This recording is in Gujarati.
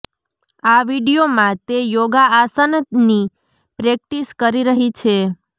આ વીડિયોમાં તે યોગા આસાનની પ્રેક્ટિસ કરી રહી છે